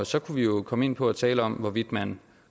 så kunne vi jo komme ind på at tale om hvorvidt man